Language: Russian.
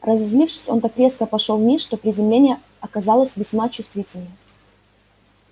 разозлившись он так резко пошёл вниз что приземление оказалось весьма чувствительным